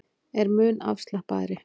Er mun afslappaðri